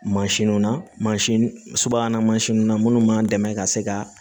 Mansinw na mansin subahana mansinw na minnu b'an dɛmɛ ka se ka